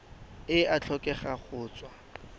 e a tlhokega go tswa